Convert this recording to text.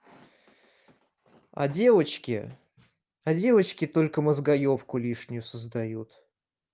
а девочки а девочки только мозгоёбку лишнюю создают